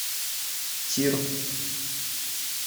тир